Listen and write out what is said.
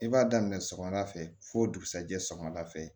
I b'a daminɛ sɔgɔmada fɛ fo dugusɛjɛ sɔgɔmada fɛ